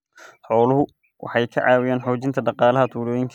Xooluhu waxay ka caawiyaan xoojinta dhaqaalaha tuulooyinka.